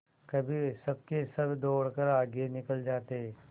कभी सबके सब दौड़कर आगे निकल जाते